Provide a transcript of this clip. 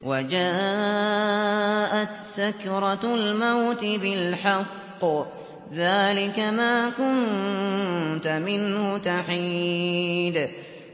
وَجَاءَتْ سَكْرَةُ الْمَوْتِ بِالْحَقِّ ۖ ذَٰلِكَ مَا كُنتَ مِنْهُ تَحِيدُ